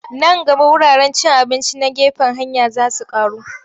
Nan gaba wuraren cin abinci na gefen hanya za su ƙaru.